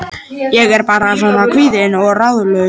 Ég er bara svona kvíðin og ráðalaus.